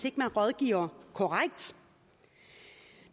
ikke rådgiver korrekt